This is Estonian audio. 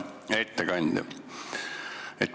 Hea ettekandja!